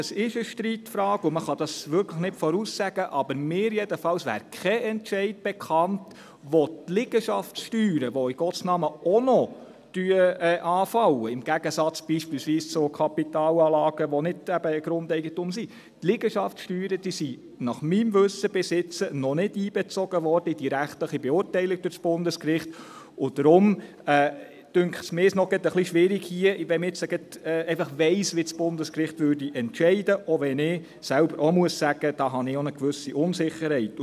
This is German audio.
Es ist eine Streitfrage, und man kann dies wirklich nicht voraussagen, aber mir jedenfalls wäre bisher kein Entscheid bekannt, bei dem die Liegenschaftssteuern, die in Gottes Namen auch noch anfallen – im Gegensatz beispielsweise zu Kapitalanlagen, die nicht Grundeigentum sind –, in die rechtliche Beurteilung durch das Bundesgericht einbezogen worden wären, und daher dünkt es mich hier gerade noch etwas schwierig, wenn man jetzt einfach weiss, wie das Bundesgericht entscheiden würde, auch wenn ich selber auch sagen muss, dass ich da eine gewisse Unsicherheit habe.